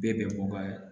Bɛɛ bɛn bɔ ka